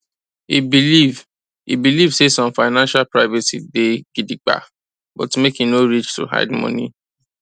e believe e believe say some financial privacy day gidigba but make e no reach to hide money